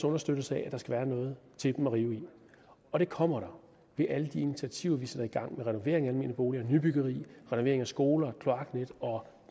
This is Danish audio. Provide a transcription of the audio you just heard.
understøttes af at der skal være noget til dem at rive i og det kommer der ved alle de initiativer vi sætter i gang renovering af almene boliger nybyggeri renovering af skoler kloaknet og